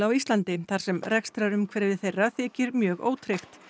Íslandi þar sem rekstrarumhverfi þeirra þykir mjög ótryggt